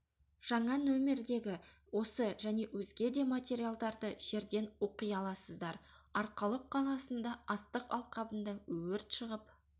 жаңа нөмірдегі осы және өзге де материалдарды жерден оқи аласыздар арқалық қаласында астық алқабында өрт шығып